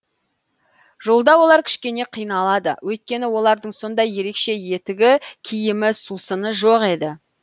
жолда олар кішкене қиналады өйткені олардың ондай ерекше етігі киімі сусыны жоқ еді